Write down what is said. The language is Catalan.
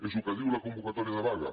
és el que diu la convocatòria de vaga